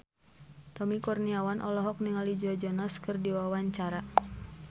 Tommy Kurniawan olohok ningali Joe Jonas keur diwawancara